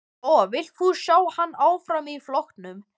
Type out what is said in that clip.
Lóa: Vilt þú sjá hann áfram í flokknum?